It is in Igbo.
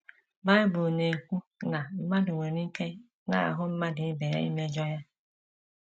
Bible na - ekwu na mmadụ nwere ike n’ahụ mmadụ ibe ya imejọ ya.